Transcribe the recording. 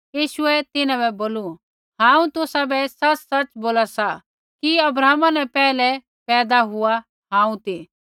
यीशुऐ तिन्हां बै बोलू हांऊँ तुसाबै सच़सच़ बोला सा कि अब्राहम न पैहलै पैदा हुआ हांऊँ ती